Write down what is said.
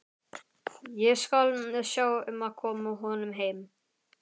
Ég skal sjá um að koma honum heim.